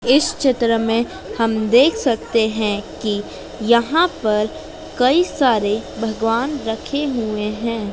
इस चित्र में हम देख सकते हैं कि यहां पर कई सारे भगवान रखे हुए हैं।